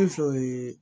fɛ yen